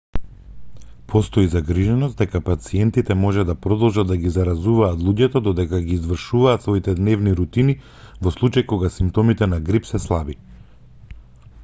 постои загриженост дека пациентите може да продолжат да ги заразуваат луѓето додека ги извршуваат своите дневни рутини во случај кога симптомите на грип се слаби